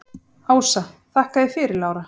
Ása: Þakka þér fyrir Lára.